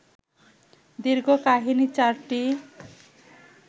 দীর্ঘ কাহিনী চারটি